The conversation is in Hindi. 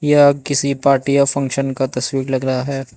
यह किसी पार्टी या फंक्शन का तस्वीर लगा है।